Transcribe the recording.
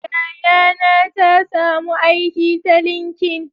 Yayana ta samu aiki ta linkin